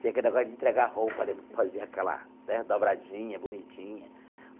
Tinha aquele negócio de entregar roupa, lembro que fazia aquela né dobradinha bonitinha.